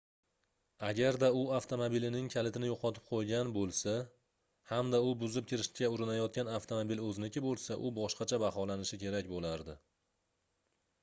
agarda u avtomobilining kalitini yoʻqotib qoʻygan boʻlsa hamda u buzib kirishga urinayotgan avtomobil oʻziniki boʻlsa u boshqacha baholanishi kerak boʻlardi